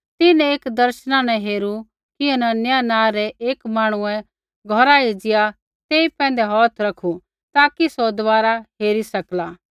तिन्हैं एक दर्शना न हेरू कि हनन्याह नाँ रै एक मांहणुऐ घौरा एज़िया तेई पैंधै हौथ रखु ताकि सौ दबारा हेरी सकला